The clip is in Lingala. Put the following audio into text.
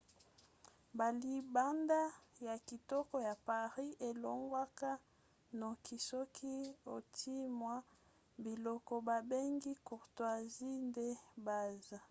balibanda ya kitoko ya paris elongwaka noki soki otie mwa biloko babengi courtoisies de base